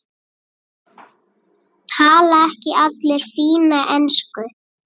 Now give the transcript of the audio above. Tala ekki allir fína ensku?